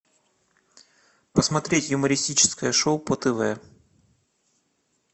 посмотреть юмористическое шоу по тв